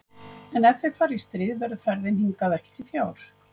En ef þeir fara í stríð verður ferðin hingað ekki til fjár.